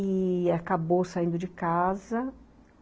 e acabou saindo de casa.